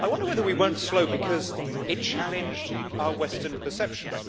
I wonder whether we were slow because it challenged our western perceptions.